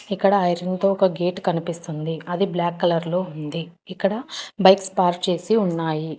ఇక్కడ ఐరన్ తో ఒక గేట్ కనిపిస్తుంది అది బ్లాక్ కలర్ లో ఉంది ఇక్కడ బైక్స్ పార్క్ చేసి ఉన్నాయి.